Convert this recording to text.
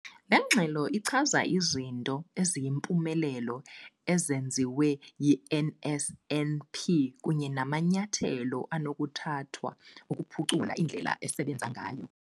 Le ngxelo ichaza izinto eziyimpumelelo ezenziwe yi-NSNP kunye namanyathelo anokuthathwa ukuphucula indlela esebenza ngayo.